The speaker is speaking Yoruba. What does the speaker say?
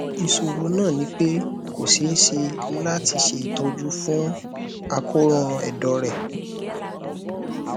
isoro na nipe ko se se lato se itoju fun akoran edo re